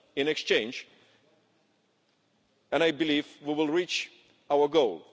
In exchange, I believe we will reach our goal.